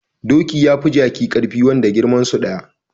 Doki yafi jaki karfi wanda girmansu daya